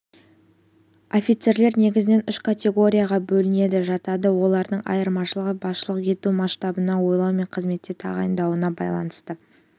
офицерлер негізінен үш категорияға бөлінеді жатады олардың айырмашылығы басшылық ету масштабына ойлау мен қызметке тағайындалуына байланысты